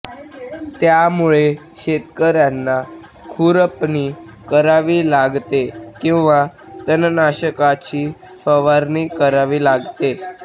त्यामुळे शेतकऱ्यांना खुरपणी करावी लागते किंवा तणनाशकाची फवारणी करावी लागते